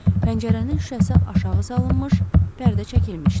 Pəncərənin şüşəsi aşağı salınmış, pərdə çəkilmişdi.